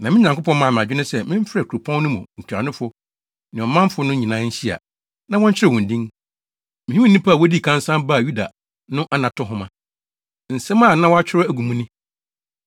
Na me Nyankopɔn maa me adwene sɛ memfrɛ kuropɔn no mu ntuanofo ne ɔmanfo no nyinaa nhyia, na wɔnkyerɛw wɔn din. Mihuu nnipa a wodii kan san baa Yuda no anato nhoma. Nsɛm a na wɔakyerɛw agu mu ni: